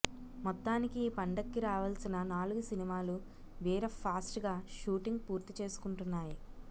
మొత్తానికి ఈ పండక్కి రావాల్సిన నాలుగు సినిమాలు వీర ఫాస్ట్ గా షూటింగ్ పూర్తి చేసుకుంటున్నాయి